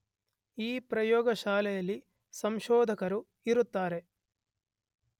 ಈ ಪ್ರಯೋಗಶಾಲೆಯಲ್ಲಿ ಸಂಶೋಧಕರು ಇರುತ್ತಾರೆ